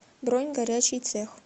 бронь горячий цех